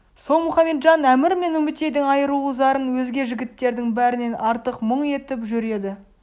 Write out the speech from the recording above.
сол мұхаметжан әмір мен үмітейдің айрылу зарын өзге жігіттердің бәрінен артық мұң етіп жүр еді